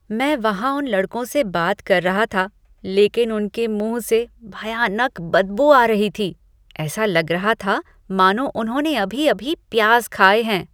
मैं वहां उन लड़कों से बात कर रहा था लेकिन उनकी मुँह से भयानक बदबू आ रही थी। ऐसे लग रहा था मानो उन्होंने अभी अभी प्याज खाए हैं।